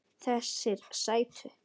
Þessir sætu!